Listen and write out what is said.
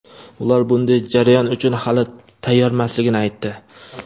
Ular bunday jarayon uchun hali tayyormasligini aytdi.